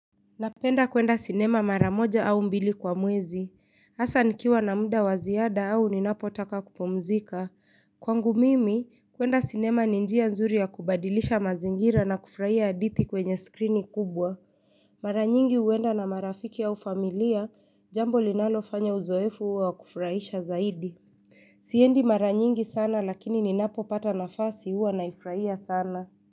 Napenda kwenda sinema mara moja au mbili kwa mwezi, hasa nikiwa na muda wa ziada au ninapotaka kupumzika. Kwangu mimi, kwenda sinema ni njia nzuri ya kubadilisha mazingira na kufurahia hadithi kwenye skrini kubwa. Mara nyingi huenda na marafiki au familia, jambo linalofanya uzoefu uwe wa kufurahisha zaidi. Siendi mara nyingi sana lakini ninapopata nafasi huwa naifurahia sana.